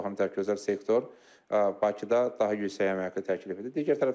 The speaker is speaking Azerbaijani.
O baxımdan özəl sektor Bakıda daha yüksək əmək haqqı təklif edir.